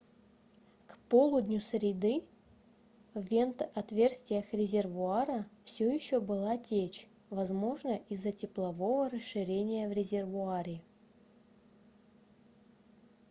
к полудню среды в вентотверстиях резервуара все еще была течь возможно из-за теплового расширения в резервуаре